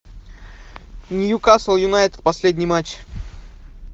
ньюкасл юнайтед последний матч